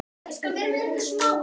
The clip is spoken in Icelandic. Nafnið er oft stytt.